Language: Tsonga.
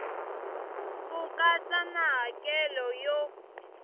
ku katsa na hakelo yo